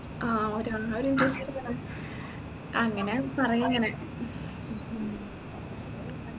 ആ ഒരാഒരിത് അങ്ങനെ പറയങ്ങനെ